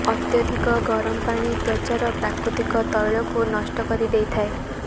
ଅତ୍ୟଧିକ ଗରମ ପାଣି ତ୍ୱଚାର ପ୍ରାକୃତିକ ତୈଳକୁ ନଷ୍ଟ କରିଦେଇଥାଏ